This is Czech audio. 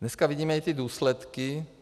Dneska vidíme i ty důsledky.